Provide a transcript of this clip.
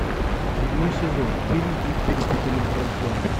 седьмой сезон фильм их перепутали в роддоме